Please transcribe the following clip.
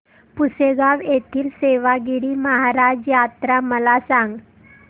पुसेगांव येथील सेवागीरी महाराज यात्रा मला सांग